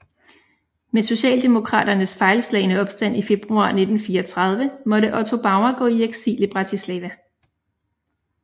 Med socialdemokraternes fejlslagne opstand i februar 1934 måtte Otto Bauer gå i eksil i Bratislava